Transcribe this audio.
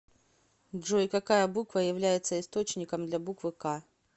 джой какая буква является источником для буквы к